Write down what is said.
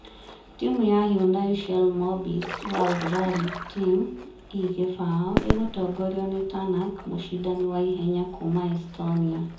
Timu ya Hyundai Shell Mobis World Rally Team (i20) ĩgũtongorio nĩ Tanak, mũcindani wa ihenya kuuma Estonia.